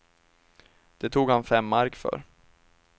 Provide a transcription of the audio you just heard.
Det tog han fem mark för.